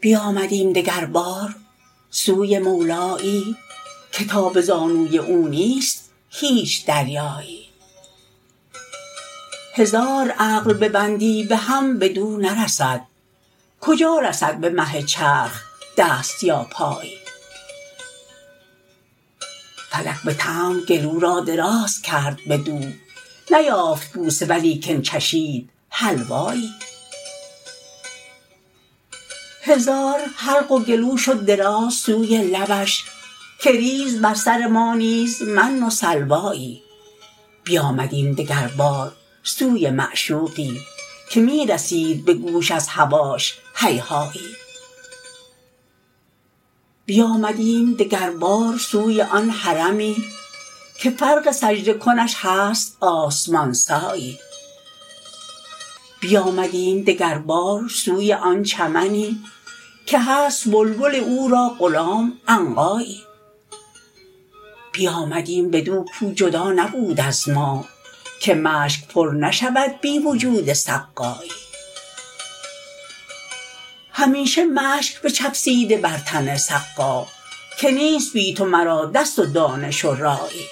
بیامدیم دگربار سوی مولایی که تا به زانوی او نیست هیچ دریایی هزار عقل ببندی به هم بدو نرسد کجا رسد به مه چرخ دست یا پایی فلک به طمع گلو را دراز کرد بدو نیافت بوسه ولیکن چشید حلوایی هزار حلق و گلو شد دراز سوی لبش که ریز بر سر ما نیز من و سلوایی بیامدیم دگربار سوی معشوقی که می رسید به گوش از هواش هیهایی بیامدیم دگربار سوی آن حرمی که فرق سجده کنش هست آسمان سایی بیامدیم دگربار سوی آن چمنی که هست بلبل او را غلام عنقایی بیامدیم بدو کو جدا نبود از ما که مشک پر نشود بی وجود سقایی همیشه مشک بچفسیده بر تن سقا که نیست بی تو مرا دست و دانش و رایی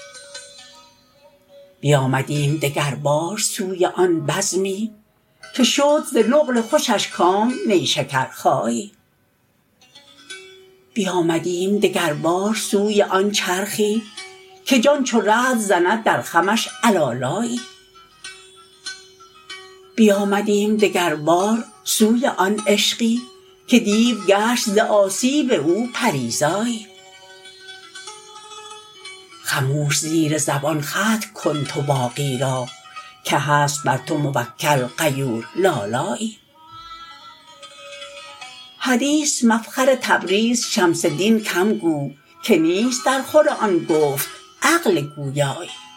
بیامدیم دگربار سوی آن بزمی که شد ز نقل خوشش کام نیشکرخایی بیامدیم دگربار سوی آن چرخی که جان چو رعد زند در خمش علالایی بیامدیم دگربار سوی آن عشقی که دیو گشت ز آسیب او پری زایی خموش زیر زبان ختم کن تو باقی را که هست بر تو موکل غیور لالایی حدیث مفخر تبریز شمس دین کم گو که نیست درخور آن گفت عقل گویایی